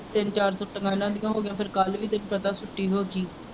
ਤਿੰਨ ਚਾਰ ਛੁੱਟੀਆਂ ਇਹਨਾਂ ਦੀਆਂ ਹੇ ਗਈਆਂ ਫਿਰ ਕੱਲ੍ਹ ਵੀ ਕਹੇ ਕਰਦਾ ਛੁੱਟੀ ਹੋ ਗਈ।